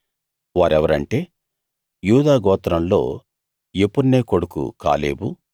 వారెవరంటే యూదా గోత్రంలో యెఫున్నె కొడుకు కాలేబు